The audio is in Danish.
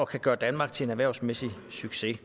kan gøre danmark til en erhvervsmæssig succes